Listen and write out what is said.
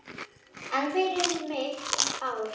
En fyrir mitt ár?